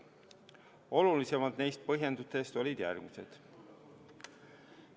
Olulisemad neist põhjendustest olid järgmised.